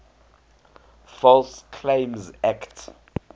false claims act